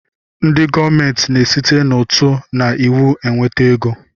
Ndị gọọmenti na-esite n'ụtụ na iwu enweta ego